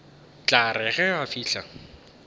tla re ge a fihla